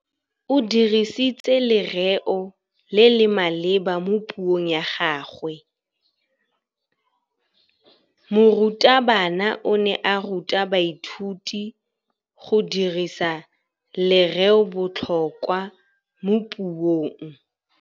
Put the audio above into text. O dirisitse lerêo le le maleba mo puông ya gagwe. Morutabana o ne a ruta baithuti go dirisa lêrêôbotlhôkwa mo puong.